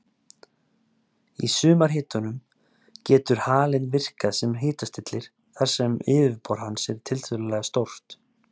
Í sumarhitunum getur halinn virkað sem hitastillir þar sem yfirborð hans er tiltölulega stórt.